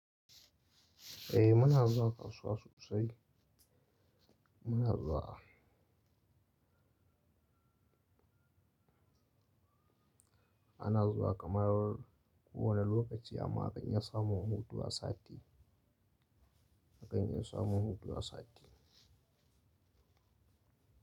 Eh muna zuwa kasuwa sosai. Muna zuwa. Ana zuwa kamar kowane lokaci amma a kan iya samun hutu a sati. A kan iya samun hutu a sati.